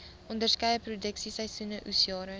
onderskeie produksieseisoene oesjare